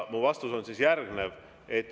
Mu vastus on järgnev.